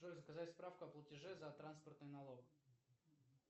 джой заказать справку о платеже за транспортный налог